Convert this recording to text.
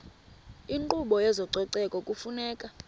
inkqubo yezococeko kufuneka